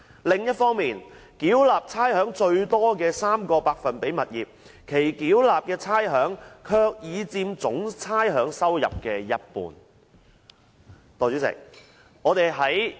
另一方面，繳納差餉最多的 3% 物業，其繳納的差餉卻已佔總差餉收入的一半。